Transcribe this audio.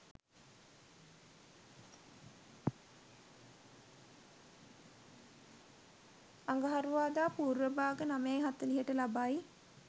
අඟහරුවාදා පූර්ව භාග 09.40ට ලබයි.